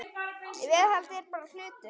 Viðhald er bara hlutur.